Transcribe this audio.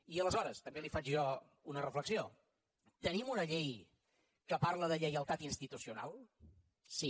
i aleshores també li faig jo una reflexió tenim una llei que parla de lleialtat institucional sí